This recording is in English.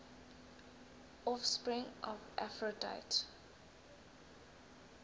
offspring of aphrodite